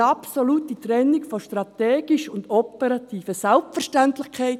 Eine absolute Trennung von «strategisch» und «operativ» ist eine Selbstverständlichkeit.